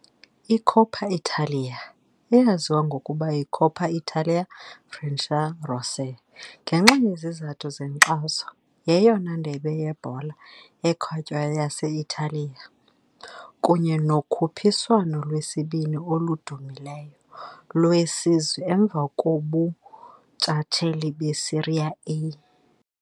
I-Coppa Italia, eyaziwa ngokuba yi-Coppa Italia Frecciarossa ngenxa yezizathu zenkxaso, yeyona ndebe yebhola ekhatywayo yase-Italiya, kunye nokhuphiswano lwesibini oludumileyo lwesizwe emva kobuntshatsheli beSerie A.